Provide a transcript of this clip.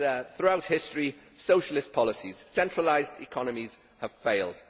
Throughout history Socialist policies, centralised economies have failed.